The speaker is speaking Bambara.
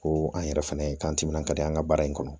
Ko an yɛrɛ fɛnɛ k'an timinandiya an ka baara in kɔnɔ